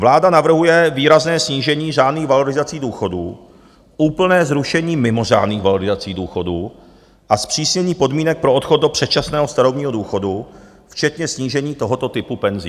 Vláda navrhuje výrazné snížení řádných valorizací důchodů, úplné zrušení mimořádných valorizací důchodů a zpřísnění podmínek pro odchod do předčasného starobního důchodu včetně snížení tohoto typu penzí.